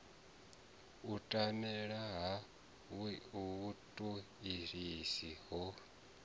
u tambela ha vhutoisisi ho